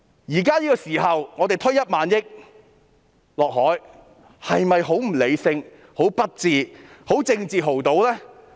現時我們要把1萬億元倒下海，這是否很不理性、很不智、是政治豪賭呢？